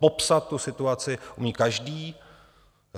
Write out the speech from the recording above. Popsat tu situaci umí každý.